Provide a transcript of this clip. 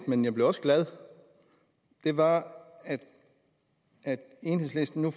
men jeg blev også glad og det var at enhedslisten nu